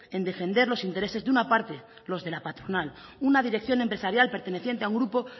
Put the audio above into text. en defender los intereses de una parte los de la patronal una dirección empresarial perteneciente a un grupo